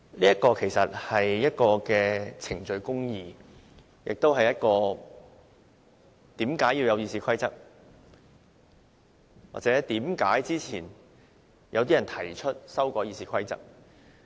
這其實是程序公義，亦是為何要有《議事規則》，或為何先前有人提出修改《議事規則》。